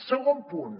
segon punt